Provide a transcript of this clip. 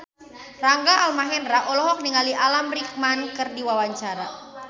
Rangga Almahendra olohok ningali Alan Rickman keur diwawancara